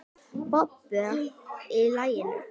Bubba í laginu.